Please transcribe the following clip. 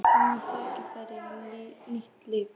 Ég fékk annað tækifæri, nýtt líf.